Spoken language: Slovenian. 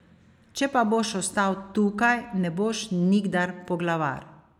Če pa boš ostal tukaj, ne boš nikdar poglavar.